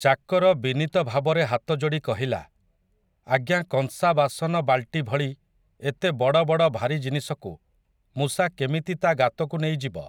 ଚାକର ବିନୀତ ଭାବରେ ହାତଯୋଡ଼ି କହିଲା, ଆଜ୍ଞା କଂସା ବାସନ ବାଲ୍ଟି ଭଳି ଏତେ ବଡ଼ ବଡ଼ ଭାରି ଜିନିଷକୁ ମୂଷା କେମିତି ତା' ଗାତକୁ ନେଇଯିବ।